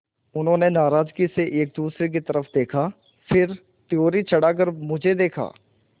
उन्होंने नाराज़गी से एक दूसरे की तरफ़ देखा फिर त्योरी चढ़ाकर मुझे देखा